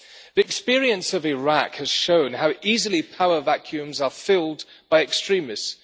The experience of Iraq has shown how easily power vacuums are filled by extremists.